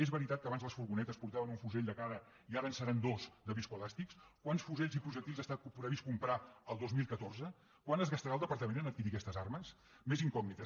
és veritat que abans les furgonetes portaven un fusell de cada i ara en seran dos de viscoelàstics quants fusells i projectils està previst comprar el dos mil catorze quant es gastarà el departament a adquirir aquestes armes més incògnites